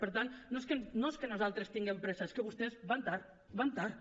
per tant no és que nosaltres tinguem pressa és que vostès van tard van tard